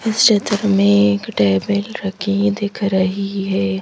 इस चित्र में एक टेबल रखी दिख रही है।